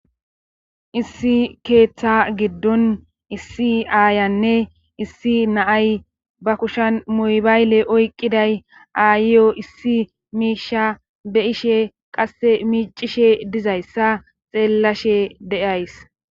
Issi keeththa giddon issi aayanne issi naay ba kushan muybayle oyqqiday aayiyo issi miisha be ishe qasse miicishe dizayssa xeellashe de7ays.